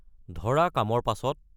ধৰা কামৰ পাছত?